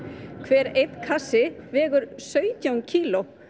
hver kassi vegur sautján kíló